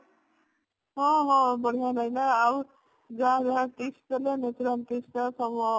ହଁ ହଁ ବଢିଆ ଲାଗିଲା ଆଉ ଯାହା ଯାହା tips ଦେଲା natural tips ତ ସବୁ